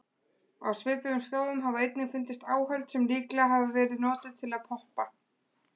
Á svipuðum slóðum hafa einnig fundist áhöld sem líklega hafa verið notuð til að poppa.